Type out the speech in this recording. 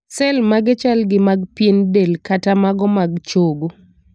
sel mage chal gi mag pien del kata mago mag chogo.